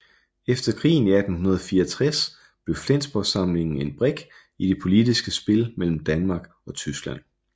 Efter krigen i 1864 blev Flensborgsamlingen en brik i det politiske spil mellem Danmark og Tyskland